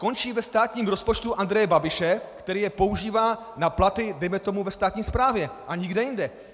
Končí ve státním rozpočtu Andreje Babiše, který je používá na platy dejme tomu ve státní správě a nikde jinde.